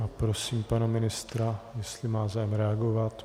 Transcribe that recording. A prosím pana ministra, jestli má zájem reagovat.